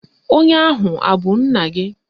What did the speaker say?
Onye ahụ abụ nna gị?